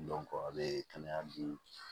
a bɛ kɛnɛya bi